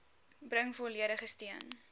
bring volledige steun